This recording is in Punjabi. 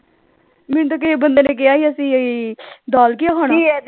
ਮੈਨੂੰ ਤਾਂ ਕਿਸੇ ਬੰਦੇ ਨੇ ਕਿਹਾ ਸੀ ਅਸੀਂ ਦਾਲ ਖਾਣਾ